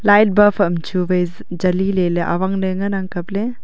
light bulb am chu vai jali lele awangle ngan nag kaple.